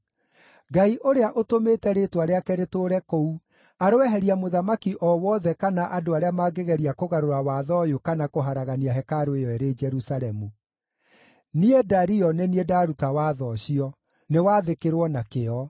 Ngai ũrĩa ũtũmĩte Rĩĩtwa rĩake rĩtũũre kũu aroeheria mũthamaki o wothe kana andũ arĩa mangĩgeria kũgarũra watho ũyũ kana kũharagania hekarũ ĩyo ĩrĩ Jerusalemu. Niĩ Dario nĩ niĩ ndaruta watho ũcio. Nĩwathĩkĩrwo na kĩyo.